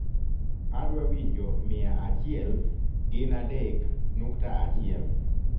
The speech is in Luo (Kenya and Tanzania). adwa winjo miaachiel ginadek nukta achiel